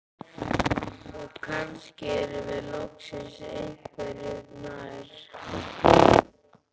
Og kannski erum við loksins einhverju nær.